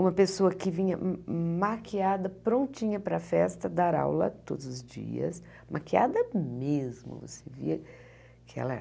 Uma pessoa que vinha maquiada, prontinha para a festa, dar aula todos os dias, maquiada mesmo assim que ela.